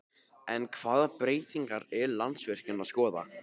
En hvaða breytingar er Landsvirkjun að skoða?